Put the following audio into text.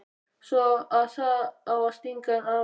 Svo að það á að stinga af núna!